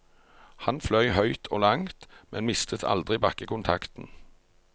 Han fløy høyt og langt, men mistet aldri bakkekontakten.